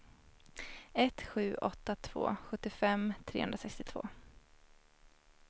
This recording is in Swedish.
ett sju åtta två sjuttiofem trehundrasextiotvå